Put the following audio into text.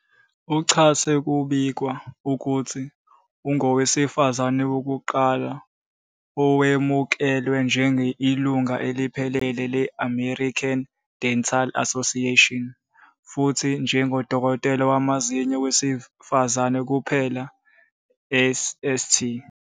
UChase kubikwa ukuthi ungowesifazane wokuqala owemukelwa njengo ilungu eliphelele le American Dental Association futhi njengodokotela wamazinyo wesifazane kuphela e St.